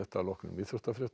að loknum íþróttafréttum